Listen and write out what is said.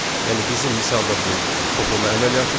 Yəni bizim misalda bu toplama əməliyyatıdır.